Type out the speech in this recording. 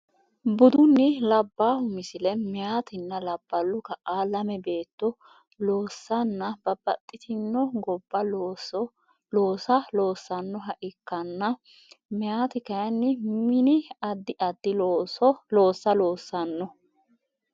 Budunni labbaahu Misile Meyatinna labballu kaa lame baatto loossanna babbaxxitino gobba loossa loosannoha ikkanna meyati kayinni mini addi addi loossa loosanno.